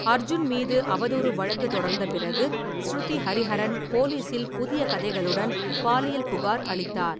அர்ஜுன் மீது அவதூறு வழக்கு தொடர்ந்த பிறகு, ஸ்ருதி ஹரிஹரன் போலீசில் புதிய கதைகளுடன் பாலியல் புகார் அளித்தார்.